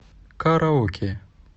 караоке